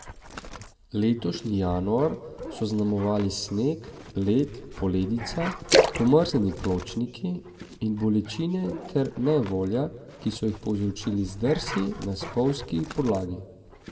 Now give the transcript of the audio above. Letošnji januar so zaznamovali sneg, led, poledica, pomrznjeni pločniki in bolečine ter nejevolja, ki so jih povzročili zdrsi na spolzki podlagi.